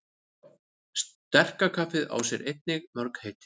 Sterka kaffið á sér einnig mörg heiti.